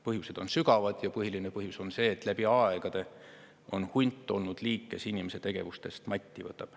Põhjused on sügavad ja põhiline põhjus on see, et läbi aegade on hunt olnud liik, kes inimese tegevustest matti võtab.